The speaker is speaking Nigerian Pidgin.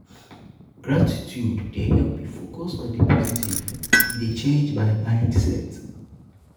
gratitude dey help me focus on di positive; e dey change my mindset. um